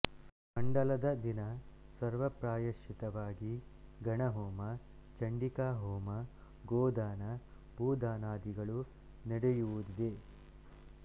ಮಂಡಲದ ದಿನ ಸರ್ವ ಪ್ರಾಯಶ್ಚಿತವಾಗಿ ಗಣಹೋಮ ಚಂಡಿಕಾ ಹೋಮ ಗೋದಾನ ಭೂದಾನಾದಿಗಳು ನಡೆಯುವುದಿದೆ